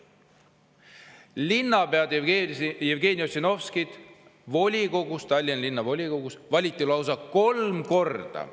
Linnapead Jevgeni Ossinovskit volikogus, Tallinna Linnavolikogus, lausa kolm korda.